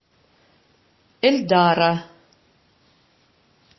эльдара